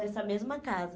Nessa mesma casa.